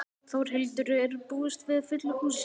Þórhildur, er búist við fullu húsi?